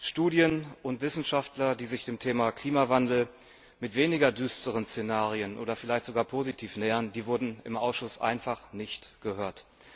Studien und Wissenschaftler, die sich dem Thema Klimawandel mit weniger düsteren Szenarien oder vielleicht sogar positiv nähern, wurden im Ausschuss einfach nicht gehört.